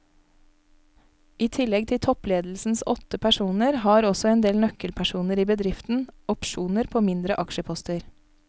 I tillegg til toppledelsens åtte personer har også en del nøkkelpersoner i bedriften opsjoner på mindre aksjeposter.